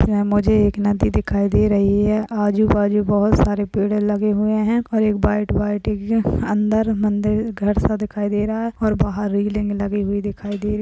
यहां मुझे एक नदी दिखाए दे रही है आजू-बाजू बोहोत सारे पेड़ लगे हुए हैं और एक व्हाइट व्हाइट अंदर मंदिर घर सा दिखाई दे रहा है और बाहर रेलिंग लगी हुई दिखाई दे रही --